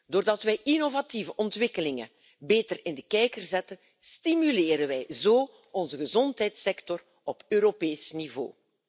Doordat wij innovatieve ontwikkelingen beter in de kijker zetten, stimuleren wij onze gezondheidssector op Europees niveau.